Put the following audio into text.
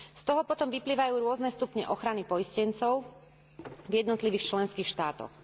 Z toho potom vyplývajú rôzne stupne ochrany poistencov v jednotlivých členských štátoch.